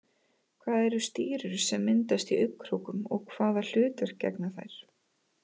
Hvað eru stírur sem myndast í augnkrókum og hvaða hlutverki gegna þær?